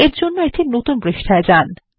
এর জন্য একটি নতুন পৃষ্ঠায় যান